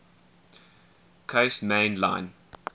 coast main line